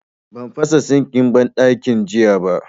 Ban fasa sinkin banɗakin jiya ba